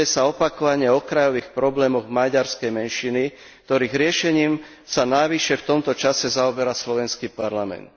Opakovane sa diskutuje o okrajových problémoch maďarskej menšiny, ktorých riešením sa navyše v tomto čase zaoberá slovenský parlament.